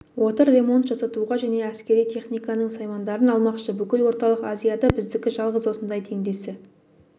отыр ремонт жасатуға және әскери техниканың саймандарын алмақшы бүкіл орталық азияда біздікі жалғыз осындай теңдесі